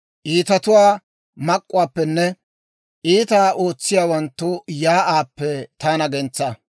Iitatuwaa mak'k'uwaappenne, iitaa ootsiyaawanttu shiik'uwaappe taana gentsaa.